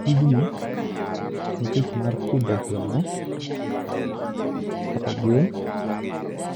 Tijni, en tich mar pidho gweno kata gwen